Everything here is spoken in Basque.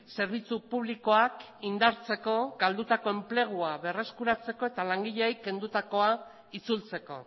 zerbitzu publikoak indartzeko galdutako enplegua berreskuratzeko eta langileei kendutakoa itzultzeko